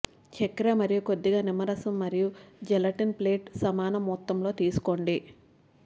చక్కెర మరియు కొద్దిగా నిమ్మరసం మరియు జెలటిన్ ప్లేట్ సమాన మొత్తంలో తీసుకోండి